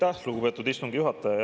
Aitäh, lugupeetud istungi juhataja!